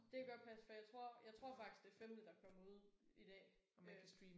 Det kan godt passe for jeg tror jeg tror faktisk det er femte der er kommet ud i dag øh